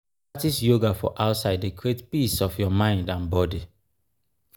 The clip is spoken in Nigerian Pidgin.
to practise yoga for outside dey create peace of your mind and body.